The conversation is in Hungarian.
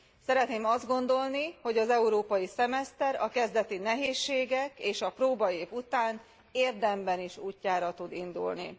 Szeretném azt gondolni, hogy az európai szemeszter a kezdeti nehézségek és a próbaév után érdemben is útjára tud indulni.